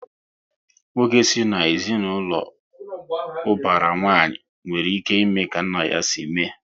Nwoke si na ezinaụlọ ubara nwanyi, nwere ike ime ka nna ya si mee